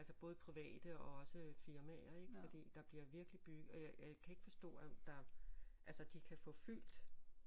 Altså både private og også firmaer ik fordi der bliver virkelig byg øh jeg kan ikke forstå at der altså de kan få fyldt